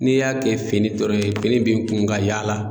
N'i y'a kɛ fini dɔrɔn ye fini b'i kun ka yaala